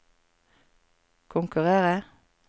konkurrere